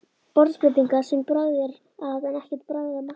Borðskreytingar sem bragð er að en ekkert bragð af matnum.